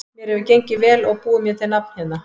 Mér hefur gengið vel og búið mér til nafn hérna.